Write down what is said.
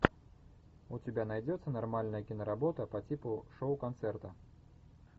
у тебя найдется нормальная киноработа по типу шоу концерта